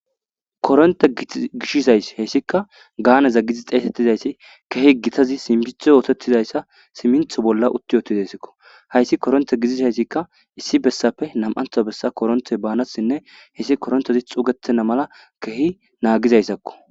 Koronte gishiza issi he issika gaaneza giddiza xeesettiza issi keehi gitazi simmintho oothettiza issa simintho bolla utti yotidasikko hayssi koronte gidiza issikka issi bessappe nam'antha bessa koronte baanasinne hessi korontezi xugetena mala keehi naagiza issakko.